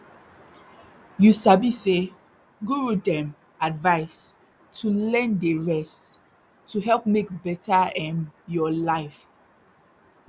you sabi say guru dem advise to learn dey rest to help make better erm your life